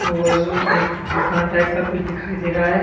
एक दुकान टाइप का कुछ दिखाई दे रहा है।